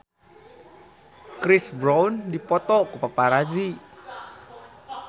Chris Brown dipoto ku paparazi